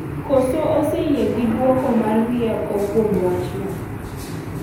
koro oseyie gi dwoko mar rieko kuom wachno.